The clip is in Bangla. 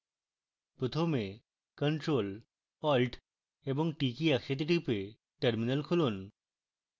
প্রথমে ctrl + alt + t কী একসাথে টিপে terminal খুলুন